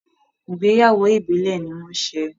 Ìgbéyàwó Ìbílẹ̀ ní wọ́n ṣe.